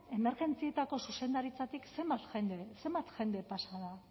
emergentzietako zuzendaritzatik zenbat jende pasa da